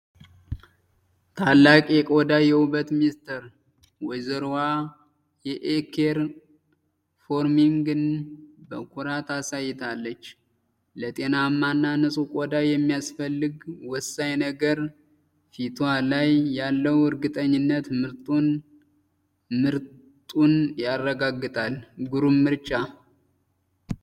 ታላቅ የቆዳ ውበት ምስጢር! ወይዘሮዋ የ'የኬር ፎርሚንግ 'ን በኩራት አሳይታለች! ለጤናማና ንጹህ ቆዳ የሚያስፈልግ ወሳኝ ነገር! ፊቷ ላይ ያለው እርግጠኝነት ምርጡን ያረጋግጣል! ግሩም ምርጫ!